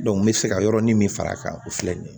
n bɛ fɛ ka yɔrɔnin min far'a kan o filɛ nin ye